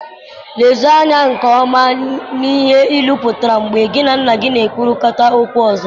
Lezienụ anya nke ọma n'ihe ilu pụtara mgbe gị na nna gị na-ekwurịta okwu ọzọ